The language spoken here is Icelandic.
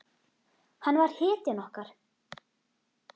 Hann var hetjan okkar.